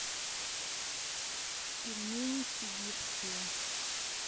пельмени сибирские